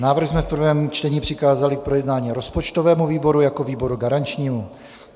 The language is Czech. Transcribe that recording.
Návrh jsme v prvním čtení přikázali k projednání rozpočtovému výboru jako výboru garančnímu.